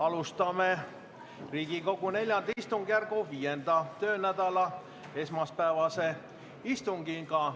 Alustame Riigikogu IV istungjärgu 5. töönädala esmaspäevast istungit.